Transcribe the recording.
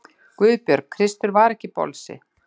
GUÐBJÖRG: Kristur var ekki bolsi!